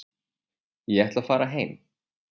Ég ætla að fara heim.